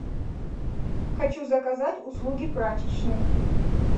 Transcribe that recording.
хочу заказать услуги прачечной